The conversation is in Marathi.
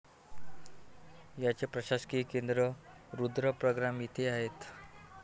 याचे प्रशासकीय केंद्र रुद्रप्रयाग येथे आहे.